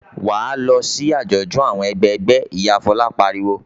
"Wà á lọ sí àjọ̀dún àwọn ẹgbẹgbẹ́!" Ìyá Fọlá pariwo.